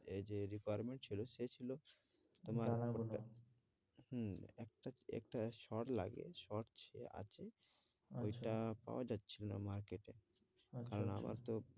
এই যে department ছিল সে ছিল তোমার হম একটা কি একটা short লাগে, short আছে ঐটা পাওয়া যাচ্ছিলো না market এ আচ্ছা, আচ্ছা কারণ আমার তো